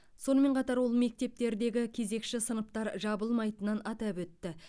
сонымен қатар ол мектептердегі кезекші сыныптар жабылмайтынын атап өтті